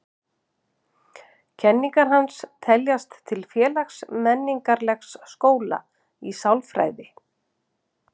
Kenningar hans teljast til félags-menningarlegs skóla í sálfræði.